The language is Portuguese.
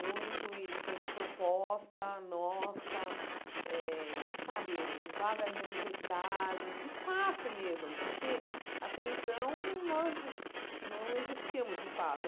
Muito, e foi uma proposta nossa eh, sabe, vaga em universidade, espaço mesmo, porque até então nós não existíamos, de fato.